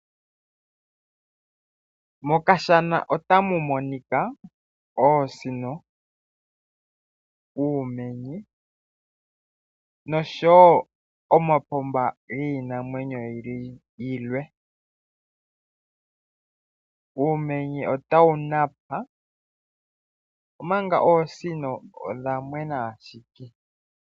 Mokashama otamu monika oosino ,uumenye noshowo omapumba giinamwenyo yilwe. Uumenye otawu Napa omanga oosino odha mwena ashike.